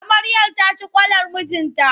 Amaryar ta ci kwalar mijinta.